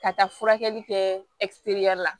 Ka taa furakɛli kɛ la